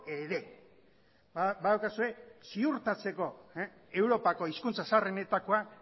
ere badaukazue ziurtatzeko europako hizkuntza zaharrenetakoa